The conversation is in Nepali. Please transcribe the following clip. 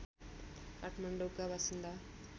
काठमाडौँका बासिन्दा